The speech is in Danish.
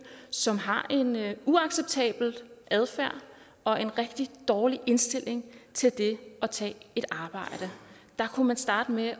som har en uacceptabel adfærd og en rigtig dårlig indstilling til det at tage et arbejde der kunne man starte med